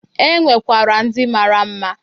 E nwekwara ndị mara mma.